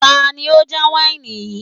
Tani ó já wáìnì yìí